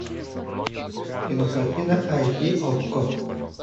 кинокартина айч ди окко